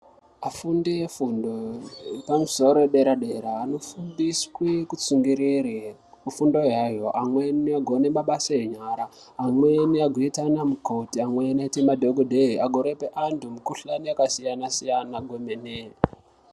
Vafundi vefundo yepamusoro yepadera dera vanofundiswe kutsungirira pafundo yavo vagone mabasa enyara. Vamwe vagone kuita anamukoti, amweni agoite madhokodheya agorape antu mikhuhlani yakasiyana siyana kwemene.